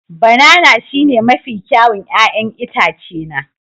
Banana shine mafi kyawun 'ya'yan itace na